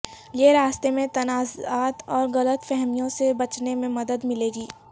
یہ راستے میں تنازعات اور غلط فہمیوں سے بچنے میں مدد ملے گی